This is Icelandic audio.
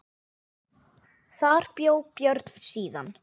Þar bjó Björn síðan.